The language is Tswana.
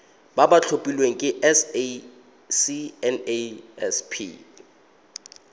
ba ba tlhophilweng ke sacnasp